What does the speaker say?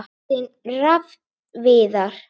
Þinn Rafn Viðar.